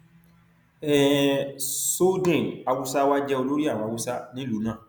um soldin hausawa jẹ olórí àwọn hausa nílùú náà